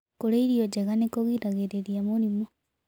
Kũrĩa irio njega nĩkũgĩragĩrĩrĩa mũrĩmũ